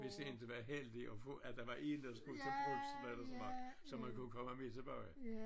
Hvis inte var heldige og få at der var en der skulle til brugsen eller sådan noget så man kunne komme med tilbage